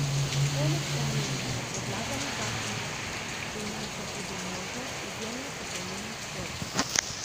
Poleg omenjenega predlagani zakon prinaša tudi možnost izjemne pokojnine v športu.